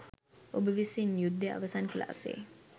ඔබ විසින් යුද්දය අවසන් කලා සේ